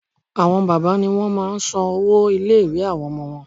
Àwọn bàbá ni wọ́n máa n san owó ilé ìwé àwọn ọmọ wọn